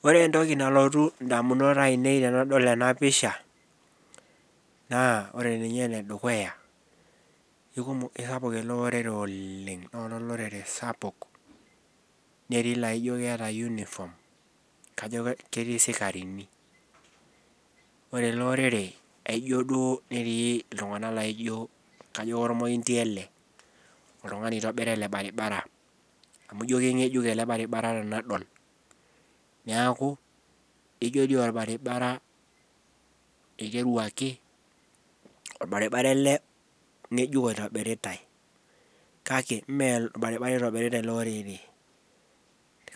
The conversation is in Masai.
Ore entoki nalotu damunot ainei tenadol ena pisha, naa ore ninye, ene dukuya isapuk ele orere oleng. loolo ilorere sapuk, kajo ketii isikarini, ore ele orere aijo duo netii iltunganak laijo, kajo kormointi ele, oltungani oitobira ele Barbara. amu kajo kingejuk ele baribabara tenadol, niaku ijo dii olbaribara iteruaki. olbaribara ele ngejuk oitobiritae. kake ime olbaribara eitobirota ele orere,